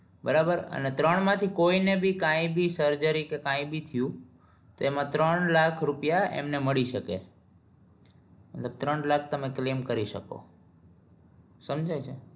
બરાબર અને ત્રણ માંથી કોઈ ને ભી કાઈ ભી surgery કે કાઈ ભી થયું તો એમાં ત્રણ લાખ રૂપિયા મળી શકે મતલબ ત્રણ લાખ તમે claim કરી શકો સમજાય છે ને